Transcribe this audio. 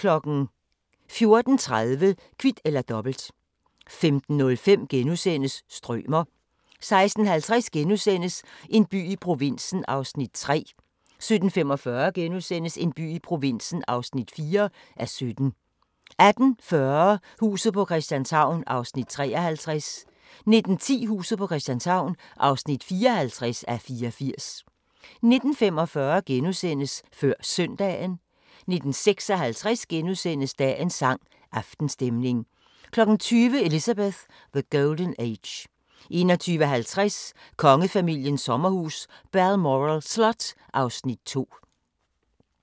14:30: Kvit eller Dobbelt 15:05: Strømer * 16:50: En by i provinsen (3:17)* 17:45: En by i provinsen (4:17)* 18:40: Huset på Christianshavn (53:84) 19:10: Huset på Christianshavn (54:84) 19:45: Før Søndagen * 19:56: Dagens sang: Aftenstemning * 20:00: Elizabeth: The Golden Age 21:50: Kongefamiliens sommerhus – Balmoral Slot (Afs. 2)